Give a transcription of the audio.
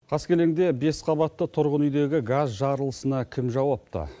қаскелеңде бес қабатты тұрғын үйдегі газ жарылысына кім жауапты